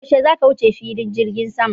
Yaushe zaka wuce filin jirgin sama?